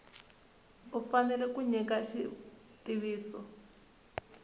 u fanele ku nyika xitiviso